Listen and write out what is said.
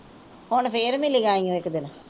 ਹੁਣ ਫੇਰ ਮਿਲੀਆਂ ਇੱਕ ਦਿਨ।